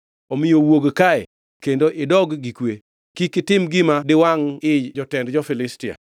Omiyo wuok kae kendo idog gi kwe, kik itim gima diwangʼ ii jotend jo-Filistia.”